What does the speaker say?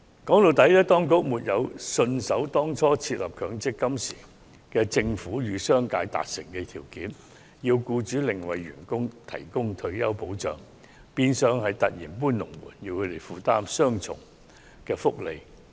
說到底，當局沒有信守當初設立強積金制度時與商界達成的協議條件，要求僱主另為僱員提供退休保障，變相是突然"搬龍門"，讓他們負擔雙重福利。